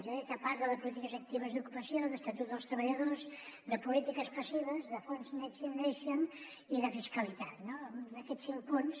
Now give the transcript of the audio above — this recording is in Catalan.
jo crec que parla de polítiques actives d’ocupació d’estatut dels treballadors de polítiques passives de fons next generation i de fis·calitat no d’aquests cinc punts